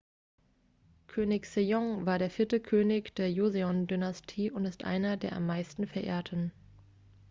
könig sejong war der vierte könig der joseon-dynastie und ist einer der am meisten verehrten